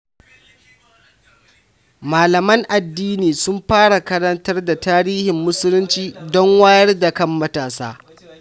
Malaman addini sun fara karantar da tarihin Musulunci don wayar da kan matasa.